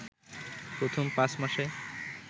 প্রথম পাঁচ মাসে